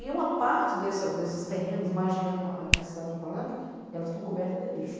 E uma parte desses terrenos magiando a cidade do Palanque, elas estão cobertas de lixo.